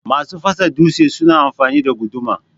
Masu fasa dutse suna amfani da guduma.